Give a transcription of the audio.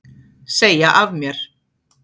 Segja af mér